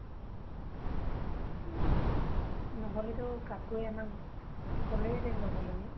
নহলেতো কাকুয়ে আমাক কলে হেতেন লগে লগে।